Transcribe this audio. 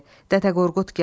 Dədə Qorqud gəldi.